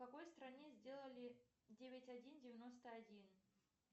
в какой стране сделали девять один девяносто один